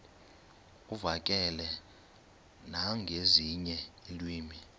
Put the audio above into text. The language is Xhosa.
uvakale nangezinye iilwimi